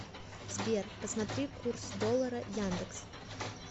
сбер посмотри курс доллара яндекс